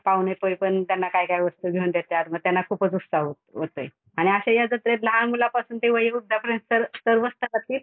पाहुणे पण त्यांना काय काय वस्तू घेऊन देत्यात मग त्यांना खूपच उत्साह होतोय. आणि असंही ते लहानमुलापासून ते वयोवृद्धापर्यंत सर्वच गटातील